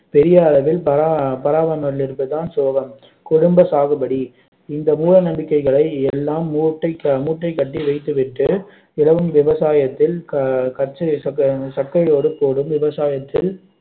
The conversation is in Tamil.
பெரிய அளவில் பரா~ அஹ் பராமரிக்காமல் இருப்பது தான் சோகம் குடும்ப சாகுபடி இந்த மூடநம்பிக்கைகளை எல்லாம் மூட்டை மூட்டை கட்டி வைத்துவிட்டு இலவம் விவசாயத்தில் கச்சை~ சக்கை போடு போடும் விவசாயத்தில்